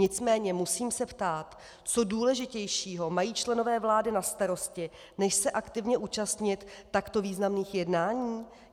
Nicméně musím se ptát, co důležitějšího mají členové vlády na starosti než se aktivně účastnit takto významných jednání.